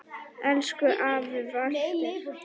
Elsku afi Walter.